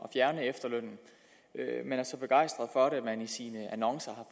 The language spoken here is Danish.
at fjerne efterlønnen man er så begejstret for det at man i sine annoncer